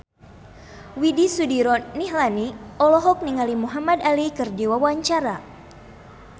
Widy Soediro Nichlany olohok ningali Muhamad Ali keur diwawancara